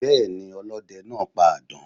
Béeni, ọlóde naa pa àdán